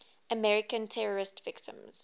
american terrorism victims